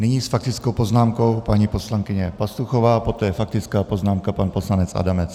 Nyní s faktickou poznámkou paní poslankyně Pastuchová, poté faktická poznámka pan poslanec Adamec.